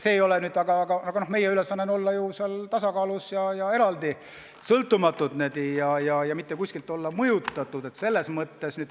Aga meie ülesanne on hoida tasakaalu ja olla eraldi, sõltumatud, mitte kuskilt mõjutatud.